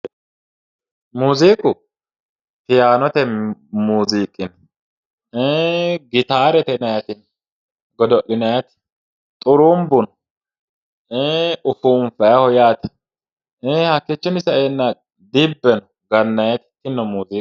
Muziiqu, faayano muziiqi no, ee gitatete yinnannitino godo'linanniti ,xurubbu no ee ufunfanniho yaate, ii'i hakkichinni saenna dibbe no gananniti tinino muziiqate.